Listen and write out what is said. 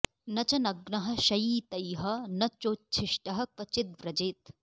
न च नग्नः शयीतैह न चोच्छिष्टः क्व चिद्व्रजेत्